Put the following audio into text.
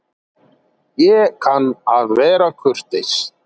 Ég kann að vera kurteis.